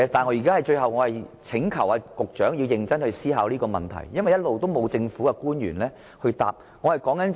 我最後就是請求局長思考這個問題，因為一直以來從未有政府官員回答這問題。